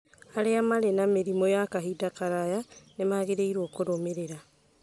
Arĩa marĩ na mĩrimũ ya kahinda karaya nĩ magĩrĩirũo kũrũmĩrĩra